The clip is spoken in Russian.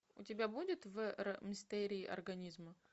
у тебя будет в р мистерии организма